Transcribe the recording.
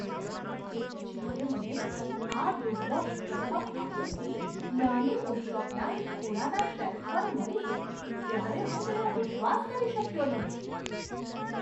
જ્યારે મને આ દુર્લભ પ્રથમ આવૃત્તિ નાની બુકશોપના એક ખૂણાના શેલ્ફ પર મળી ત્યારે હું તેનો વિશ્વાસ કરી શક્યો નહીં.